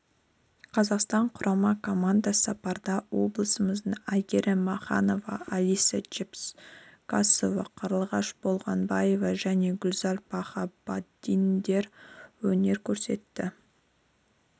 қазақстан құрама команда сапында облысымыздан әйгерім маханова алиса чепкасова қарлығаш болғанбаева және гузал бахабаддиндер өнер көрсетті